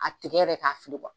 A tigɛ yɛrɛ k'a fili